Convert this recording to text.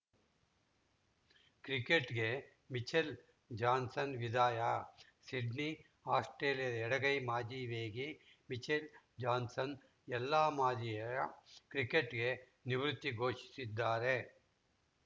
ಕ್ರಿಕೆಟ್‌ಗೆ Mitchell Johnson ವಿದಾಯ Sydney ಆಸ್ಪ್ರೇಲಿಯಾದ ಎಡಗೈ ಮಾಜಿ ವೇಗಿ ಮಿಚೆಲ್‌ ಜಾನ್ಸನ್‌ ಎಲ್ಲಾ ಮಾದರಿಯ ಕ್ರಿಕೆಟ್‌ಗೆ ನಿವೃತ್ತಿ ಘೋಷಿಸಿದ್ದಾರೆ